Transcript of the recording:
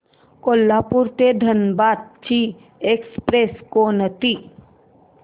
कोल्हापूर ते धनबाद ची एक्स्प्रेस कोणती